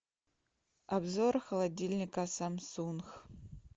обзор холодильника самсунг